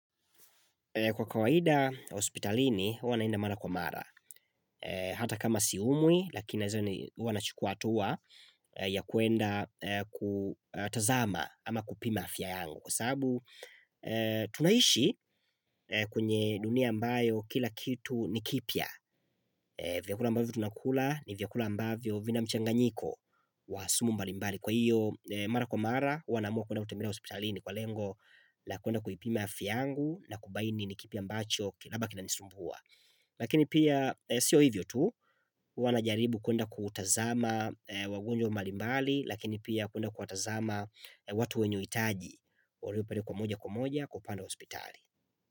Kwa kawaida hospitalini, huwa naenda mara kwa mara, hata kama siumwi, lakini huwa nachukuwa hatua ya kuenda kutazama ama kupima afya yangu. Kwa sababu, tunaishi kwenye dunia ambayo kila kitu ni kipya, vyakula ambavyo tunakula ni vyakula ambavyo vina mchanganyiko wa sumu mbalimbali. Kwa hiyo, mara kwa mara, huwa naamua kuenda kutembelea hospitalini kwa lengo la kuenda kuipima afya yangu na kubaini ni kipi ambacho labda kinanisumbua Lakini pia, sio hivyo tu, huwa najaribu kuenda kuwatazama wagonjwa mbalimbali Lakini pia kuenda kuwatazama watu wenye uhitaji walio pale kwa moja kwa moja kwa upande wa hospitali.